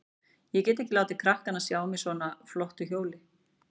Ég get ekki látið krakkana sjá mig á svona flottu hjóli.